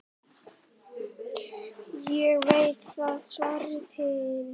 Ég veit það, svaraði hinn.